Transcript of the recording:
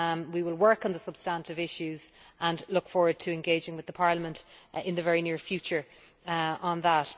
We will work on the substantive issues, and look forward to engaging with Parliament in the very near future on that.